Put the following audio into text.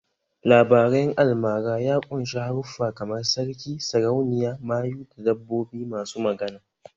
Labaren almara ya ƙunshi haruffa kamar sarki, sarauniya, mayu da dabbobi masu magana